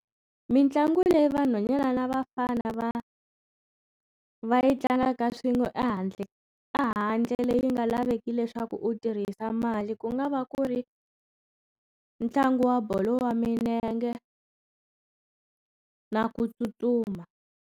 Mitlangu leyi vanhwanyana ni vafana va va yi tlangaka swin'we ehandle ehandle leyi nga laveki leswaku u tirhisa mali ku nga va ku ri ntlangu wa bolo ya milenge na ku tsutsuma.